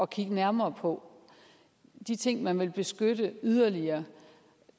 kigge nærmere på de ting man vil beskytte yderligere